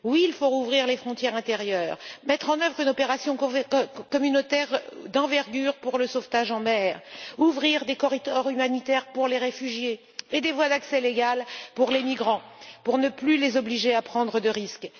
Oui, il faut rouvrir les frontières intérieures, mettre en œuvre une opération européenne d'envergure pour le sauvetage en mer, ouvrir des corridors humanitaires pour les réfugiés et des voies d'accès légales pour les migrants, pour ne plus les obliger à prendre de risques.